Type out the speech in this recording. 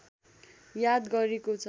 याद गरेकोछ